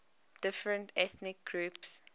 different ethnic groups